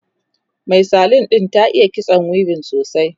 Mai salon ɗin ta iya kitso weaving sosai